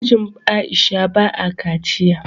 Mijin Aisha ba a kaciya